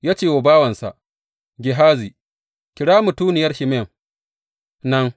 Ya ce wa bawansa Gehazi, Kira mutuniyar Shunam nan.